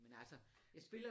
Men altså jeg